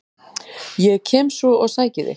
Ég kem svo og sæki þig.